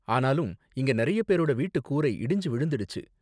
ஆனாலும் இங்க நிறைய பேரோட வீட்டுக் கூரை இடிஞ்சு விழுந்திடுச்சு.